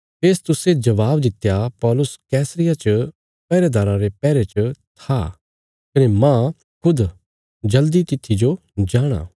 फेस्तुसे जवाब दित्या पौलुस कैसरिया च पैहरेदाराँ रे पैहरे च था कने मांह खुद जल्दी तित्थी जो जाणा